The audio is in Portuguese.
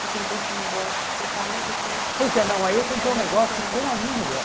Você tentou esse negócio com o seu pai e depois... Pois é, não, aí eu tentei um negócio com a minha mulher.